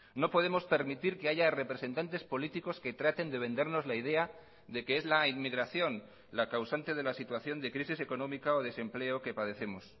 no podemos permitir que haya representantes políticos que traten de vendernos la idea de que es la inmigración la causante de la situación de crisis económica o desempleo que padecemos